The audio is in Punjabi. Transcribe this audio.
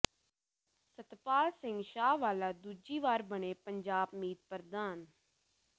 ਸੱਤਪਾਲ ਸਿੰਘ ਸ਼ਾਹਵਾਲਾ ਦੂਜੀ ਵਾਰ ਬਣੇ ਪੰਜਾਬ ਮੀਤ ਪ੍ਰਧਾਨ